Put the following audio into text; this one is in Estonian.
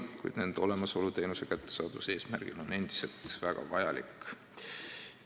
Samas on need teenused arstiabi kättesaadavuse tagamiseks endiselt väga vajalikud.